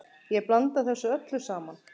Ég blanda þessu öllu saman.